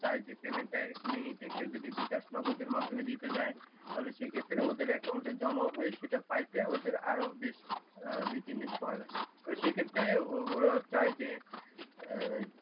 চায় যে পেমেন্ট টা এখুনি নিতে কেউ যদি বিকাশ নগদের মাধ্যমে দিতে যায় তাহলে সেক্ষেত্রে ওদের একাউন্টে জমা হয়ে সেটা পাইতে ওদের আরো দুই তিন দিন সময় লাগে সেক্ষেত্রে ওরা চাই যে